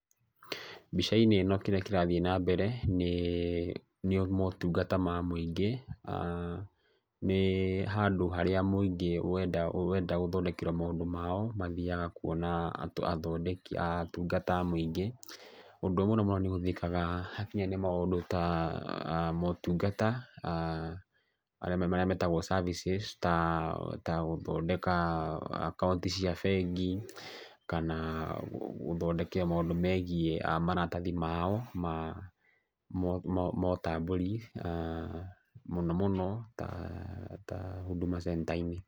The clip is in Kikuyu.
Mbica-inĩ ĩno kĩrĩa kĩrathiĩ na mbere nĩ motungata ma mũingĩ, aah nĩ handũ harĩa mũingĩ wenda gũthondekerwo maũndũ mao mathiaga kũona athondeki, atungata a mũingĩ. Ũndũ ũyũ mũno mũno nĩũhũthĩkaga hakinya nĩ maũndũ ta motungata, aah marĩa metagwo ta services ta gũthondeka akaunti cia bengi, kana gũthondekera maũndũ megiĩ maratahi mao ma ũtambũri mũno mũno ta hũduma cenita-inĩ.